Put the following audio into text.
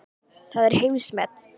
Það er heimsmet.